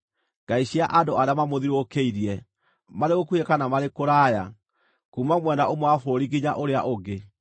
ngai cia andũ arĩa mamũthiũrũrũkĩirie, marĩ gũkuhĩ, kana marĩ kũraya, kuuma mwena ũmwe wa bũrũri nginya ũrĩa ũngĩ),